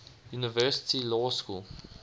university law school